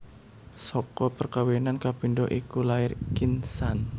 Saka perkawinan kapindho iku lair Kin San